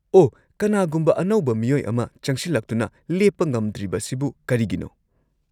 -ꯑꯣꯍ, ꯀꯅꯥꯒꯨꯝꯕ ꯑꯅꯧꯕ ꯃꯤꯑꯣꯏ ꯑꯃ ꯆꯪꯁꯤꯜꯂꯛꯇꯨꯅ ꯂꯦꯞꯄ ꯉꯝꯗ꯭ꯔꯤꯕꯁꯤꯕꯨ ꯀꯔꯤꯒꯤꯅꯣ?